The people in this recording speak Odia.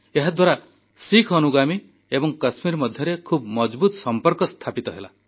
ଏହାଦ୍ୱାରା ଶିଖ୍ ଅନୁଗାମୀ ଏବଂ କାଶ୍ମୀର ମଧ୍ୟରେ ଖୁବ୍ ମଜଭୁତ ସମ୍ପର୍କ ସ୍ଥାପିତ ହେଲା